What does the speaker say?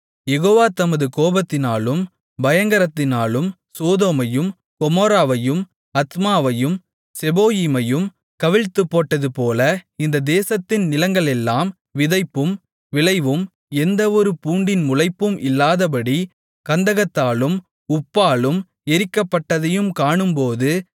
யெகோவா தமது கோபத்திலும் பயங்கரத்திலும் சோதோமையும் கொமோராவையும் அத்மாவையும் செபோயீமையும் கவிழ்த்துப்போட்டதுபோல இந்த தேசத்தின் நிலங்களெல்லாம் விதைப்பும் விளைவும் எந்தவொரு பூண்டின் முளைப்பும் இல்லாதபடி கந்தகத்தாலும் உப்பாலும் எரிக்கப்பட்டதைக் காணும்போதும்